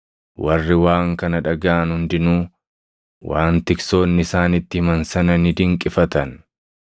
warri waan kana dhagaʼan hundinuu waan tiksoonni isaanitti himan sana ni dinqifatan.